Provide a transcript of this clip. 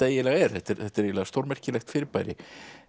eiginlega er þetta er þetta er eiginlega stórmerkilegt fyrirbæri